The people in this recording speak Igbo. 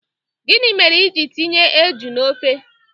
Gini mere i jiri tinye eju na ofe?